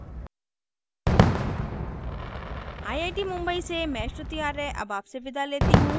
I I T Mumbai से मैं श्रुति आर्य अब आपसे विदा लेती हूँ